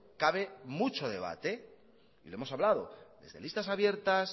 cabe mucho debate y lo hemos hablado desde listas abiertas